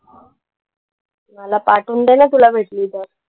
मला पाठवून दे ना तुला भेटली तर.